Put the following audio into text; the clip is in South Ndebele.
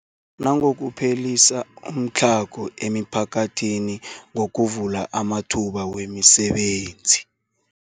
Nangokuphelisa umtlhago emiphakathini ngokuvula amathuba wemisebenzi.